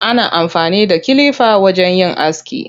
Ana amfani da kilifa wajen yin aski.